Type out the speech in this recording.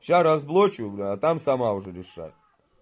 сейчас разблочу бля а там сама уже решай